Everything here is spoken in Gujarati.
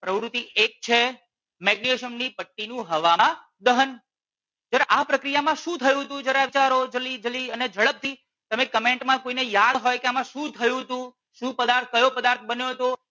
પ્રવૃતિ એક છે મેગ્નેશિયમ ની પટ્ટી નું હવામાં દહન. જરા આ પ્રક્રિયામાં શું થયું તું જરા વિચારો જલ્દી જલ્દી અને ઝડપ થી તમે કમેંટ માં કોઈ ને યાદ હોય કે આમાં શું થયું તું શું પદાર્થ કયો પદાર્થ બન્યો તો.